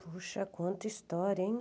Puxa, quanta história, hein?